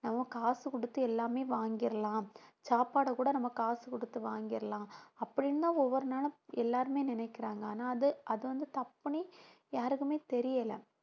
நம்ம காசு கொடுத்து எல்லாமே வாங்கிடலாம், சாப்பாட கூட நம்ம காசு கொடுத்து வாங்கிடலாம் அப்படின்னுதான் ஒவ்வொரு நாளும் எல்லாருமே நினைக்கிறாங்க ஆனா அது அது வந்து தப்புன்னு யாருக்குமே தெரியலை